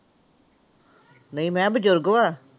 ਨਹੀਂ ਮੈਂ ਬਜ਼ੁਰਗ ਵਾ?